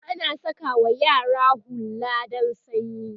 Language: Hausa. ana sakawa yara hulla dan sanyi